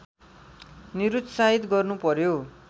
निरुत्साहित गर्नु पर्‍यो